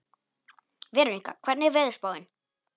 Veronika, hvernig er veðurspáin?